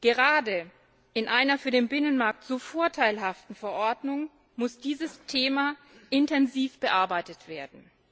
Gerade in einer für den Binnenmarkt so vorteilhaften Verordnung muss dieses Thema intensiv bearbeitet werden.